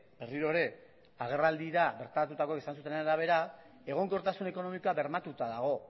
berriro ere agerraldira bertaratutakoek esan zutenaren arabera egonkortasun ekonomikoa bermatuta dago